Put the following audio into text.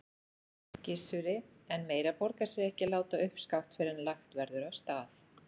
Gissuri, en meira borgar sig ekki að láta uppskátt fyrr en lagt verður af stað.